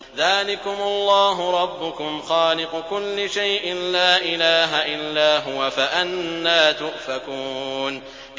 ذَٰلِكُمُ اللَّهُ رَبُّكُمْ خَالِقُ كُلِّ شَيْءٍ لَّا إِلَٰهَ إِلَّا هُوَ ۖ فَأَنَّىٰ تُؤْفَكُونَ